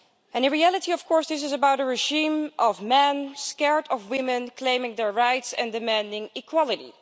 In reality, this is about a regime of men scared of women claiming their rights and demanding equality.